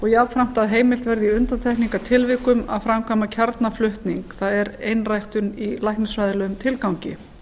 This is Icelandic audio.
jafnframt að heimilt verði í undantekningartilvikum að framkvæma kjarnaflutning það er einræktun í læknisfræðilegum tilgangi